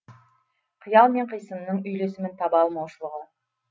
қиял мен қисынның үйлесімін таба алмаушылығы